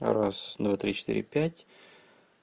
раз два три четыре пять